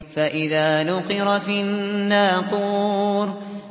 فَإِذَا نُقِرَ فِي النَّاقُورِ